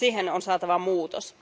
on saatava muutos.